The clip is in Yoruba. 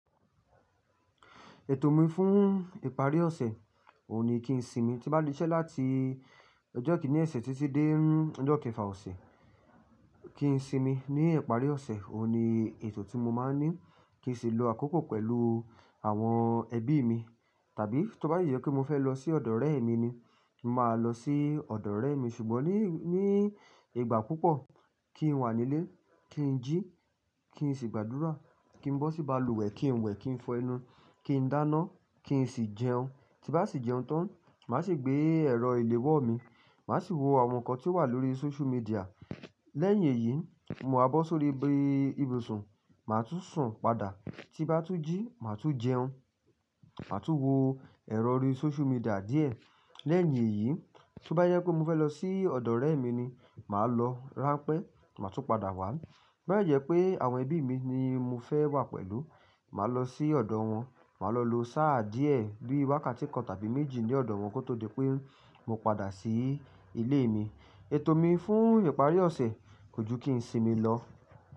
Ètò mi fún ìparí ọ̀sẹ̀ ò ní kí n sinmi. Tí bá ti ṣi ṣẹ́ láti ọjọ́ kíní osẹ́ títí dé ọjọ́ kẹfà ọ̀sẹ̀ kí n sinmi. Ní ìparí ọ̀sẹ̀ òun ni ètò tí mo máa ń ní kí n sì lọ àkókò pẹ̀lú àwọn ẹbí mi. Tàbí tó bá dẹ jẹ pé mo fẹ́ lọ sí ọ̀dọ̀ ọ̀rẹ́ mi ni, màá lọ sí ọ̀dọ̀ ọ̀rẹ́ mi. Ṣùgbọ́n ní, ní ìgbà púpọ̀ kí n wà nílé, kí n jí, kí n sì gbàdúrà, kí n bọ́ sí balùwẹ̀, kí n wẹ̀, kí n fọ́ ẹnu, kí n dáná, kí n sì jẹun. Tí bá ṣì jẹun tán, màá sì gbé ẹ̀rọ ìléwọ́ mi, màá sì wo àwọn nǹkan tí ó wà lórí social media. Lẹ́yìn èyí, ma á bọ́ sórí ibi ibùsùn, màá tún sùn padà. Tí bá tún jí, màá tún jẹun, màá tún wo ẹ̀rọ orí social media díẹ̀. Lẹ́yìn èyí, tí ó bá jẹ pé mo fẹ́ lọ sí ọ̀dọ̀ ọ̀rẹ́ mi ni, màá lọ ránpẹ́, màá tún padà wá. Bí bá jẹ pé àwọn ẹbí mi ni mo fẹ́ wà pẹ̀lú, màá lọ sí ọ̀dọ̀ wọn, màá lọ lo sáà díẹ̀ bí wákàtí kan tàbí méjì ní ọ̀dọ̀ wọn kó tó di pé mo padà sí ilé mi. Ètò mi fún ìparí ọ̀sẹ̀ kò ju kí n sinmi lọ.